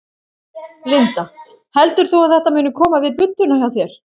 Linda: Heldur þú að þetta muni koma við budduna hjá þér?